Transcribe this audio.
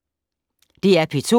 DR P2